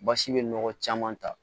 Basi bɛ nɔgɔ caman ta